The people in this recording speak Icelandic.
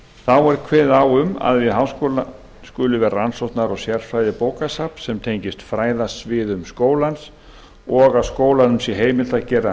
þá er kveðið á um að við háskólann skuli vera rannsókna og sérfræðibókasafn sem tengist fræðasviðum skólans og að skólanum sé heimilt að gera